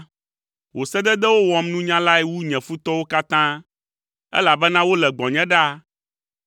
Wò sededewo wɔm nunyalae wu nye futɔwo katã, elabena wole gbɔnye ɖaa.